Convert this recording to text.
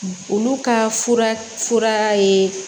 Olu ka fura fura ye